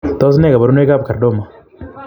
Tos nee kabarunoik ap kordoma?